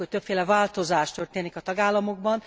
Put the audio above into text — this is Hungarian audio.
Azt látjuk, hogy többféle változás történik a tagállamokban.